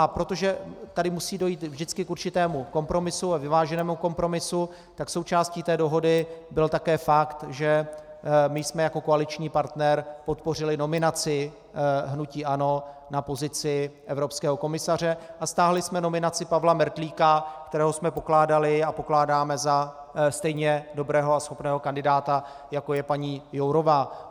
A protože tady musí dojít vždycky k určitému kompromisu a vyváženému kompromisu, tak součástí té dohody byl také fakt, že my jsme jako koaliční partner podpořili nominaci hnutí ANO na pozici evropského komisaře a stáhli jsme nominaci Pavla Mertlíka, kterého jsme pokládali a pokládáme za stejně dobrého a schopného kandidáta, jako je paní Jourová.